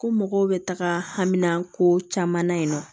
Ko mɔgɔw bɛ taga hamina ko caman na yen nɔ